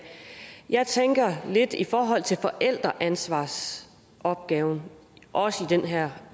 jeg tænker lidt i forhold til forældreansvarsopgaven også i den her